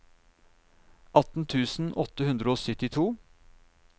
atten tusen åtte hundre og syttito